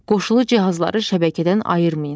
Qoşulu cihazları şəbəkədən ayırmayın.